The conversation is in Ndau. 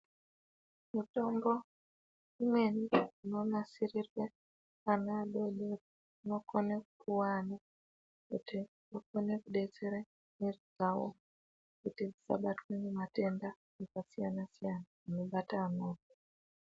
Mitombo imweni inonasirirwe ana adodori, inokone kuwanda kuti ikone kudetsere mwiri dzawo kuti isabatwe ngematenda akasiyana siyana anobate amweni.